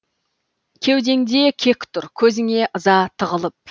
кеудеңде кек тұр көзіңе ыза тығылып